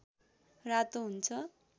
रातो हुन्छ